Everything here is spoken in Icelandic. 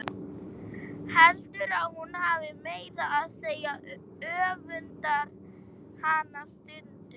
Heldur að hún hafi meira að segja öfundað hana stundum.